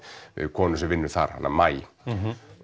konu sem vinnur þar hana maí já